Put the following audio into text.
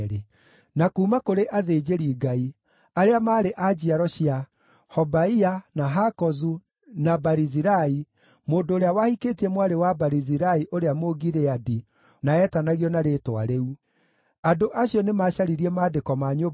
Rĩrĩa maakinyire nyũmba-inĩ ya Jehova kũu Jerusalemu, atongoria amwe a nyũmba ciao nĩmarutire mũhothi wa kwĩyendera wa gũteithia gwaka rĩngĩ nyũmba ya Ngai o harĩa yarĩ.